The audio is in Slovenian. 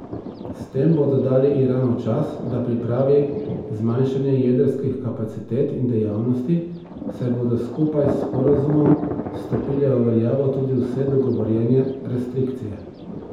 S tem bodo dali Iranu čas, da pripravi zmanjšanje jedrskih kapacitet in dejavnosti, saj bodo skupaj s sporazumom stopile v veljavo tudi vse dogovorjene restrikcije.